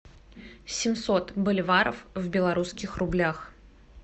семьсот боливаров в белорусских рублях